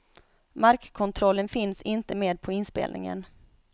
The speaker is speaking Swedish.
Markkontrollen finns inte med på inspelningen.